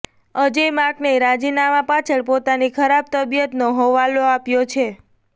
અજય માકને રાજીનામાં પાછળ પોતાની ખરાબ તબીયતનો હવાલો આપ્યો છે